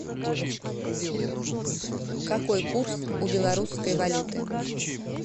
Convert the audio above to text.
какой курс у белорусской валюты